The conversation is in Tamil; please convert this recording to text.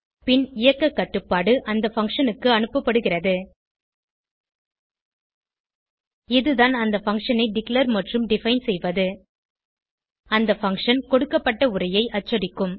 பின் இயக்க கட்டுப்பாடு அந்த பங்ஷன் க்கு அனுப்படுகிறது இது தான் அந்த பங்ஷன் ஐ டிக்ளேர் மற்றும் டிஃபைன் செய்வது அந்த பங்ஷன் கொடுக்கப்பட்ட உரையை அச்சடிக்கும்